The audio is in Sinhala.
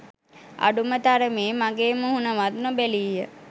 අඩුම තරමේ මගේ මුහුණවත් නොබැලීය